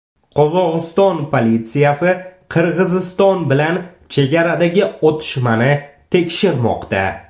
Qozog‘iston politsiyasi Qirg‘iziston bilan chegaradagi otishmani tekshirmoqda.